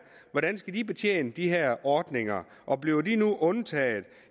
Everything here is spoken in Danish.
hvordan skal de betjene de her ordninger og bliver de nu undtaget